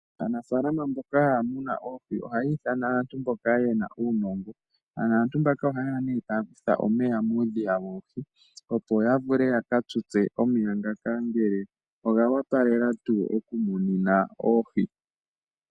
Aanafaalama mboka haya munu oohi ohaya ithana aantu mboka ye na uunongo. Aantu mbaka ohaye ya e taya kutha omeya muudhiya woohi, opo ya vule ya ka tutse omeya ngoka ngele oga opala tuu okumunina oohi.